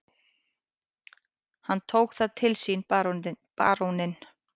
Hann tók það til sínBaróninn